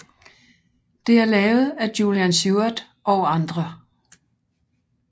Det er lavet af Julian Seward og andre